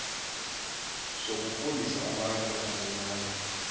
sokufundisa abantu abancinane